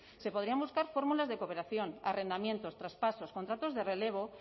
se podrían buscar fórmulas de cooperación arrendamientos traspasos contratos de relevo